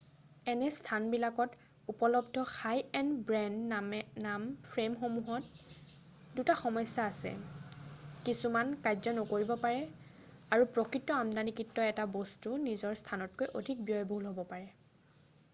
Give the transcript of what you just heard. এনে স্থানবিলাকত উপলব্ধ হাই-এণ্ড ব্ৰেণ্ড-নাম ফ্ৰেমসমূহত দুটা সমস্যা আছে কিছুমান কাৰ্য নকৰিব পাৰে আৰু প্ৰকৃত আমদানিকৃত এটা বস্তু নিজৰ স্থানতকৈ অধিক ব্যয়বহুল হ'ব পাৰে